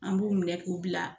An b'u minɛ k'u bila.